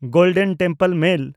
golden Temple mail